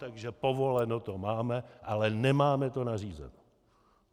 Takže povoleno to máme, ale nemáme to nařízeno.